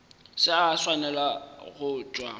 se a swanela go tšwa